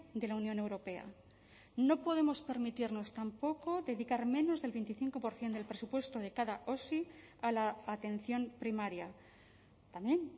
de la unión europea no podemos permitirnos tampoco dedicar menos del veinticinco por ciento del presupuesto de cada osi a la atención primaria también